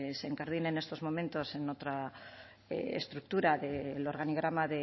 se incardine en estos momentos en otra estructura del organigrama